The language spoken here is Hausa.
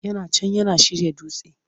Yana can yana shirya dutse!